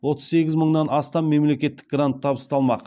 отыз сегіз мыңнан астам мемлекеттік грант табысталмақ